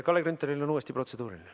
Kalle Grünthalil on uuesti protseduuriline.